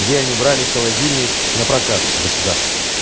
где они брали холодильник напрокат у государства